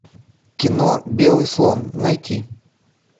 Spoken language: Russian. кино белый слон найти